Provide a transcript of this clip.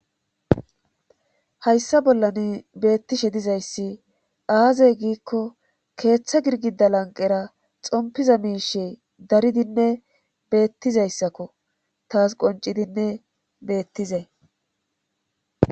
hayssa bollan beettishe dizayssi aazey giikko keeththa girgida lanqera xompiza miishe daridinne beettizayssakko taas qoncidinne beettizee